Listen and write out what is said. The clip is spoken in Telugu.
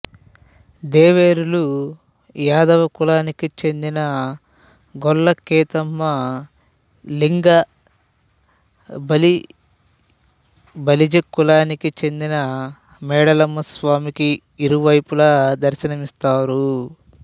దేవేరులు యాదవ కులానికి చెందిన గొల్ల కేతమ్మ లింగ బలిజకులానికి చెందిన మేడలమ్మ స్వామికి ఇరువైపులా దర్ళనమిస్తారు